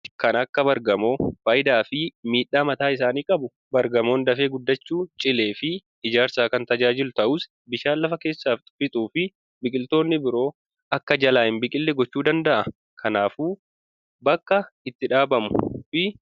kan akka bargamoo faayidaa fi miidhaa mataa isaanii qabu. bargamoon dafee guddachuun cilee fi ijaarsaf kan tajaajilu ta'us bishaan lafa keessaa fixuu fi biqiltoonni biroo akka jalaatti hin biqille gochuu danda'a. kanaafu bakka itti dhaabamu murteessuu qabna.